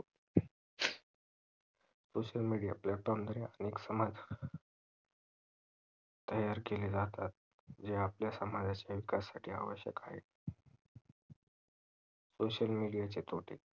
social media platform द्वारे आपण एक समाज तयार केले जातात जे आपल्या समजाच्या विकासासाठी आवश्यक आहेत social media चे तोटे